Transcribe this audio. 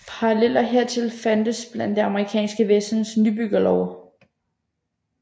Paralleller hertil fandtes blandt det amerikanske vestens nybyggerbyer